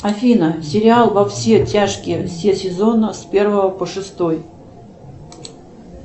афина сериал во все тяжкие все сезоны с первого по шестой